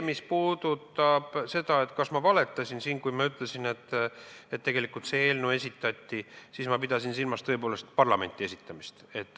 Mis puudutab seda, kas ma valetasin siin, kui ma rääkisin selle eelnõu esitamisest, siis ma pidasin silmas tõepoolest parlamenti esitamist.